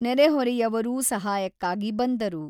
ನೆರೆಹೊರೆಯವರೂ ಸಹಾಯಕ್ಕಾಗಿ ಬಂದರು.